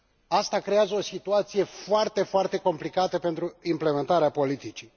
Asta creează o situație foarte complicată pentru implementarea politicii.